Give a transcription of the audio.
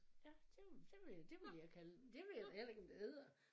Ja det det ville det ville jeg kalde den. Det ved jeg da heller ikke om det hedder